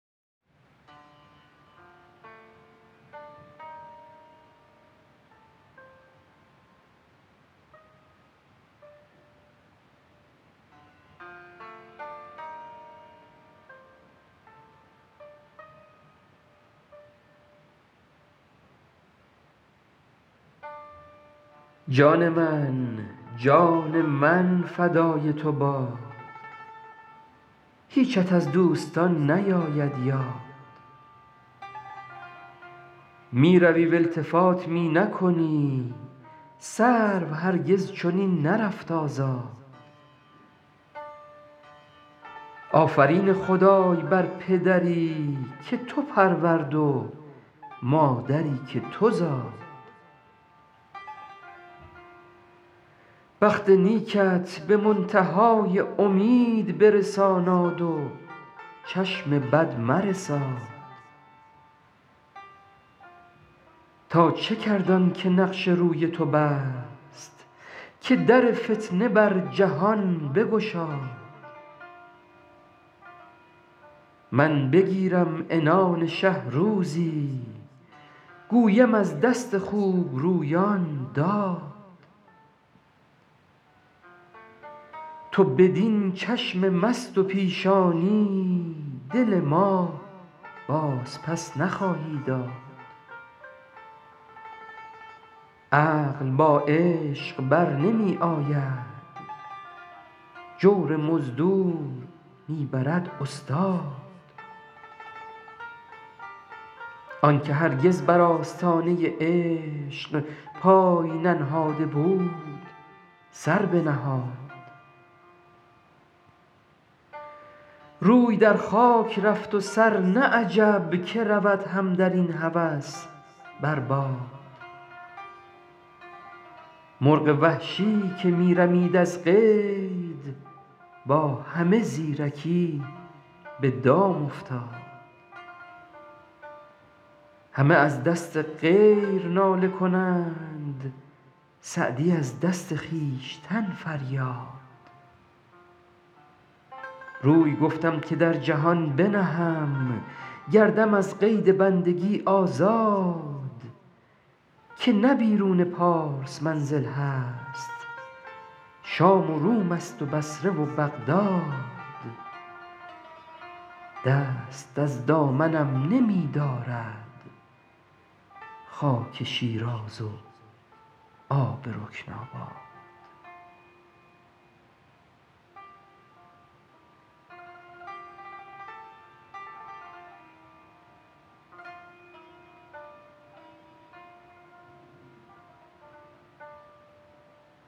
جان من جان من فدای تو باد هیچت از دوستان نیاید یاد می روی و التفات می نکنی سرو هرگز چنین نرفت آزاد آفرین خدای بر پدری که تو پرورد و مادری که تو زاد بخت نیکت به منتها ی امید برساناد و چشم بد مرساد تا چه کرد آن که نقش روی تو بست که در فتنه بر جهان بگشاد من بگیرم عنان شه روزی گویم از دست خوبرویان داد تو بدین چشم مست و پیشانی دل ما بازپس نخواهی داد عقل با عشق بر نمی آید جور مزدور می برد استاد آن که هرگز بر آستانه عشق پای ننهاده بود سر بنهاد روی در خاک رفت و سر نه عجب که رود هم در این هوس بر باد مرغ وحشی که می رمید از قید با همه زیرکی به دام افتاد همه از دست غیر ناله کنند سعدی از دست خویشتن فریاد روی گفتم که در جهان بنهم گردم از قید بندگی آزاد که نه بیرون پارس منزل هست شام و روم ست و بصره و بغداد دست از دامنم نمی دارد خاک شیراز و آب رکن آباد